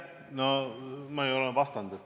Ma olen ju sellele vastanud.